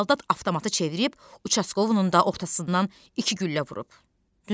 Saldat avtomatı çevirib uçaskovunun da ortasından iki güllə vurub.